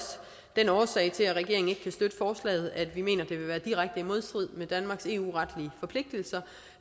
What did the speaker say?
den årsag til at regeringen ikke kan støtte forslaget at vi mener at det vil være direkte i modstrid med danmarks eu retlige forpligtelser